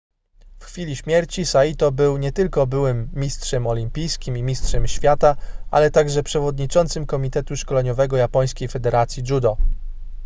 w chwili śmierci saito był nie tylko byłym mistrzem olimpijskim i mistrzem świata ale także przewodniczącym komitetu szkoleniowego japońskiej federacji judo